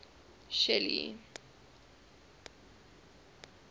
shelly